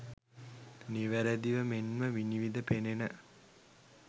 නිවැරදිව මෙන්ම විනිවිද පෙනෙන